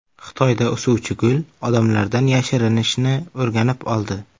Xitoyda o‘suvchi gul odamlardan yashirinishni o‘rganib oldi.